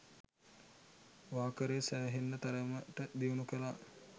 වාකරේ සෑහෙන්න තරමට දියුණු කළා.